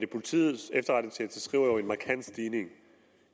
politiets efterretningstjeneste skriver jo er markant stigning